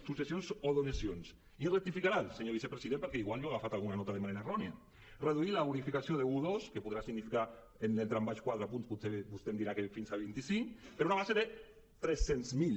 successions i donacions i ja em rectificarà el senyor vicepresident perquè potser jo he agafat alguna nota de manera errònia reduir la bonificació d’un a dos que podrà significar en el tram baix potser quatre punts potser vostè em dirà que fins a vinti cinc per a una base de tres cents mil